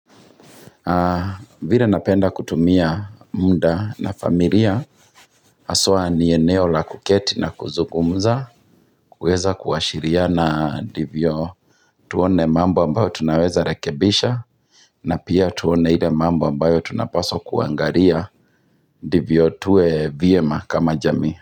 Haa vila napenda kutumia muda na familia haswa ni eneo la kuketi na kuzungumza kuweza kuashiriana ndivyo tuone mambo ambayo tunaweza rekebisha na pia tuone ile mambo ambayo tunapaswa kuangaria ndivyo tuwe vyema kama jamii.